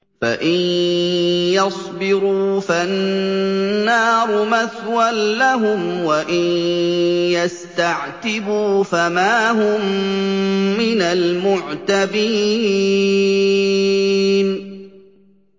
فَإِن يَصْبِرُوا فَالنَّارُ مَثْوًى لَّهُمْ ۖ وَإِن يَسْتَعْتِبُوا فَمَا هُم مِّنَ الْمُعْتَبِينَ